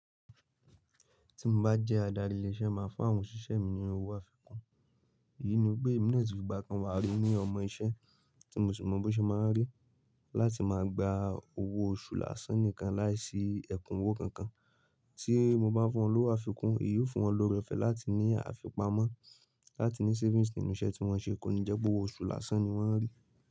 Ti mo bá jẹ́ adarí ilé iṣẹ́ mo máa fún àwọn òṣìṣẹ́ mi ní owó àfikún. Èyí ni wipé èmi náà le tun fi gba kò kan wà rí ní ọmọ iṣẹ́ tí mo sì mọ bó ṣe máa ń rí láti máa gba owó oṣù lásán nìkan láìsí ẹ̀kúnwó kankan tí mo bá fún wọn lówó àfikún, èyí ó fún wọn lorẹ̀ ofẹ́ láti ní àfipamọ́ láti ní savings nínú iṣẹ́ tí wọ́n ṣe kó ni jẹ́ pé owó oṣù lásán ni wọ́n rí.